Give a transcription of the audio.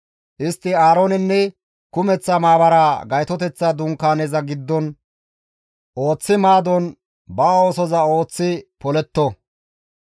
Istti Aaroonenne kumeththa maabaraa Gaytoteththa Dunkaaneza giddon ooththi maadon ba oosoza ooththi poletto.